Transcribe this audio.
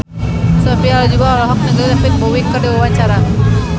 Sophia Latjuba olohok ningali David Bowie keur diwawancara